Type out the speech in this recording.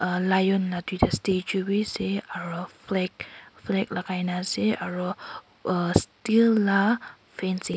alion natu jasti chu bhi ase aru flag lagai na ase aru steel fancin --